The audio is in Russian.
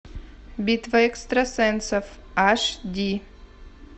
битва экстрасенсов аш ди